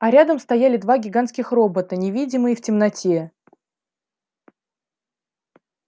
а рядом стояли два гигантских робота невидимые в темноте